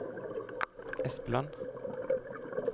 Espeland